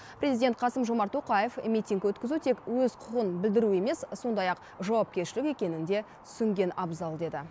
президент қасым жомарт тоқаев митинг өткізу тек өз құқығын білдіру емес сондай ақ жауапкершілік екенін де түсінген абзал деді